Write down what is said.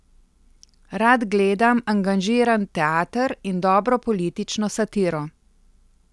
Rad gledam angažiran teater in dobro politično satiro.